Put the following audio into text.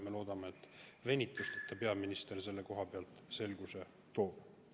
Me loodame, et peaminister toob selguse venituseta.